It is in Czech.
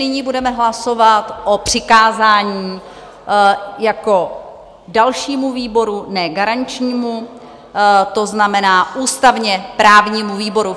Nyní budeme hlasovat o přikázání jako dalšímu výboru, ne garančnímu, to znamená ústavně-právnímu výboru.